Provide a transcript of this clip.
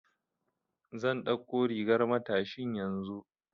Zan ɗauko rigar matashin yanzu.